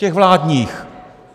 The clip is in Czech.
Těch vládních.